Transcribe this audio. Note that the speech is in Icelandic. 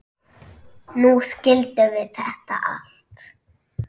Nú skildum við þetta allt.